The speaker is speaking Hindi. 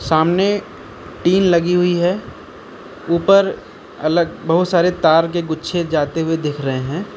सामने टीन लगी हुई है ऊपर अलग बहुत सारे तार के गुच्छे जाते हुए देख रहे हैं।